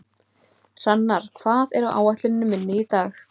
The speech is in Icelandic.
Hrannar, hvað er á áætluninni minni í dag?